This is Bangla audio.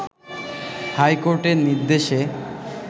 হাইকোর্টের নির্দেশে